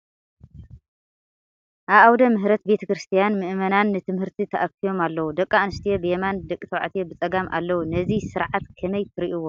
ኣብ ኣወደ ምሕረት ቤተ ክርስቲያን ምእመናን ንትምህርቲ ተኣኪቦም ኣለዉ፡፡ ደቂ ኣንስትዮ ብየማን ደቂ ተባዕትዮ ብፀጋም ኣለዉ፡፡ ነዚ ስርዓት ከመይ ትሪእዎ?